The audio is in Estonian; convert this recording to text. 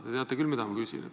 Te teate küll, mida ma küsin.